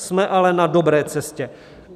Jsme ale na dobré cestě.